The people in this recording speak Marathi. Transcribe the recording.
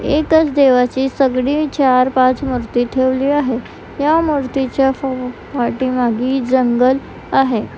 एकच देवाची चार पाच मूर्ती ठेवली आहे या मूर्तीच्या पाठीमागे जंगल आहे.